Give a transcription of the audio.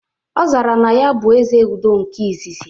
Ọ zara na ya bụ "Ezeudo nke izizi"